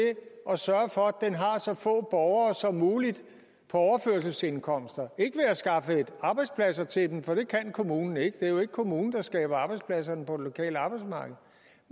at sørge for at have så få borgere som muligt på overførselsindkomster ikke ved at skaffe arbejdspladser til dem for det kan kommunen ikke det er jo ikke kommunen der skaber arbejdspladserne på det lokale arbejdsmarked